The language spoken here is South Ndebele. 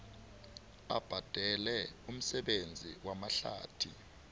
abhadale umsebenzi wamahlathi